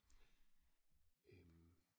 øh